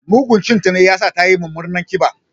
Mugun cin ta ne ya sa tayi mummunar ƙiba.